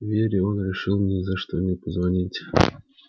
вере он решил ни за что не позвонить